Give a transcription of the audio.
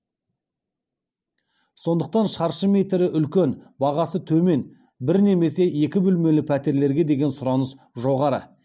сондықтан шаршы метрі үлкен бағасы төмен бір немесе екі бөлмелі пәтерлерге деген сұраныс жоғары